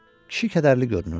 Kişi kədərli görünürdü.